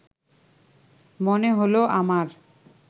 মনে হলো আমার